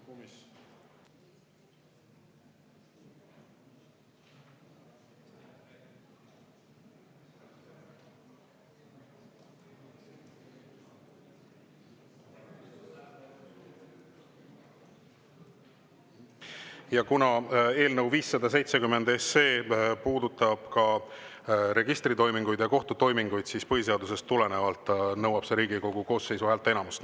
Ja kuna eelnõu 570 puudutab ka registritoiminguid ja kohtutoiminguid, siis põhiseadusest tulenevalt nõuab see Riigikogu koosseisu häälteenamust.